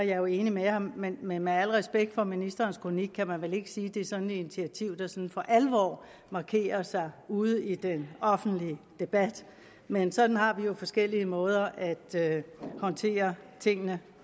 jo enig med ham men men med al respekt for ministerens kronik kan man vel ikke sige at det er et initiativ der sådan for alvor markerer sig ude i den offentlige debat men sådan har vi jo forskellige måder at håndtere tingene